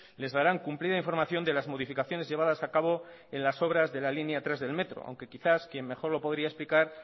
les darán cumplida información de las modificaciones llevadas a cabo en las obras de la línea tres del metro aunque quizás quien mejor lo podría explicar